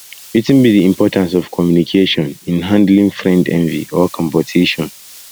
wetin be di importance of communication in handling friend envy or competition